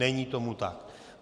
Není tomu tak.